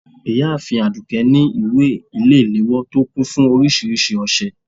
ìyáàfín adùké ní ìwé ile-ìlewọ to kún fún oríṣiríṣi òsẹ